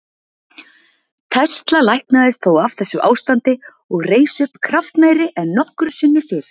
Tesla læknaðist þó af þessu ástandi og reis upp kraftmeiri en nokkru sinni fyrr.